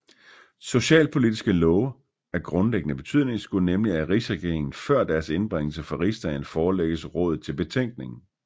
Socialpolitiske love af grundlæggende betydning skulle nemlig af rigsregeringen før deres indbringelse for rigsdagen forelægges rådet til betænkning